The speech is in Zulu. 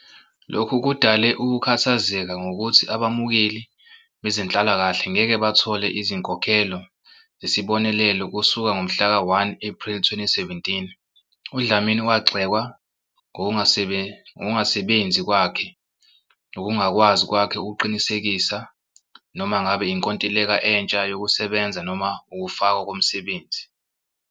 Lokhu kudale ukukhathazeka ngokuthi abamukeli bezenhlalakahle ngeke bathole izinkokhelo zesibonelelo kusuka ngomhlaka 1 Ephreli 2017. UDlamini wagxekwa ngokungasebenzi kwakhe nokungakwazi kwakhe ukuqinisekisa noma ngabe inkontileka entsha yokusebenza noma ukufakwa komsebenzi.